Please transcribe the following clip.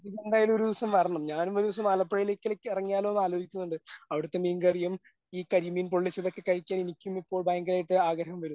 പിന്നെ എന്തായാലും ഒരു ദിവസം വരണം ഞാനും ഒരു ദിവസം ആലപ്പുഴയിലേക്ക് ഇടയ്ക്കിടയ്ക്ക് ഇറങ്ങിയാലോ എന്ന് ആ ലോചിക്കുന്നുണ്ട് അവിടുത്തെ മീൻ കറിയും ഈ കരിമീൻ പൊള്ളിച്ചതൊക്കെ കഴിക്കാൻ എനിക്കും ഇപ്പോൾ ഭയങ്കരമായിട്ട് ആഗ്രഹം വരുന്നു.